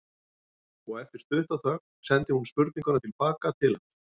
Og eftir stutta þögn sendi hún spurninguna til baka til hans.